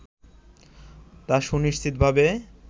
তা সুনিশ্চিতভাবে